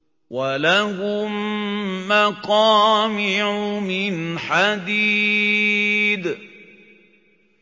وَلَهُم مَّقَامِعُ مِنْ حَدِيدٍ